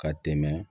Ka tɛmɛ